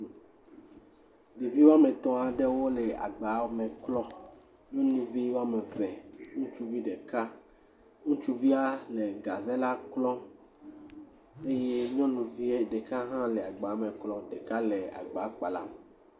Ɖevi woame etɔ̃ aɖewo le agba me klɔm, nyɔnuvi woame eve, ŋutsuvi ɖeka, ŋutsuvia le gaze la lɔm eye nyɔnuvi ɖeka hã le agba me klɔm, ɖeka le agba kpalam.